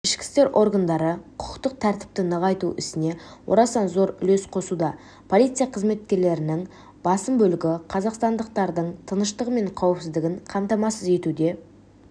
ішкі істер органдары құқықтық тәртіпті нығайту ісіне орасан зор үлес қосуда полиция қызметкерлерінің басым бөлігі қазақстандықтардың тыныштығы мен қауіпсіздігін қамтамасыз етуде